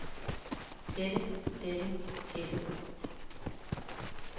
dette dette dette